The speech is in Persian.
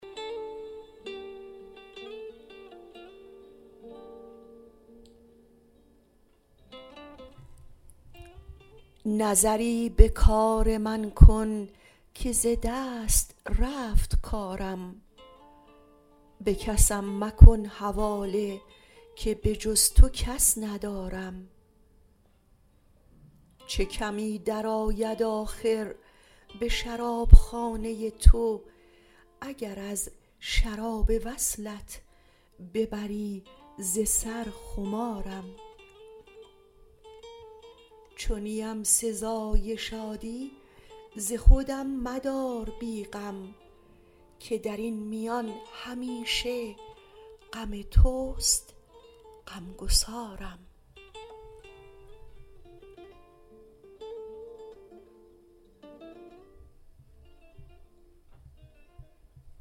نظری به کار من کن که ز دست رفت کارم به کسم مکن حواله که به جز تو کس ندارم چه کمی درآید آخر به شرابخانه تو اگر از شراب وصلت ببری ز سر خمارم چو نیم سزای شادی ز خودم مدار بی غم که در این میان همیشه غم توست غمگسارم